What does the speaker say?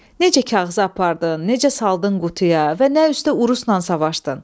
Necə kağızı apardın, necə saldın qutuya və nə üstdə urusla savaşdın?